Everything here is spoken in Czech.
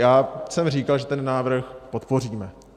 Já jsem říkal, že ten návrh podpoříme.